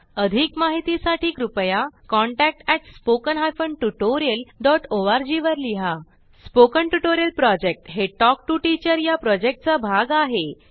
अधिक माहितीसाठी कृपया contact at spoken hyphen tutorial dot ORG वर लिहा स्पोकन ट्युटोरियल प्रॉजेक्ट हे टॉक टू टीचर या प्रॉजेक्टचा भाग आहे